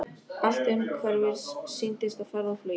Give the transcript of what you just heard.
Allt umhverfis sýndist á ferð og flugi.